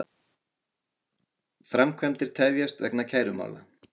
Framkvæmdir tefjast vegna kærumála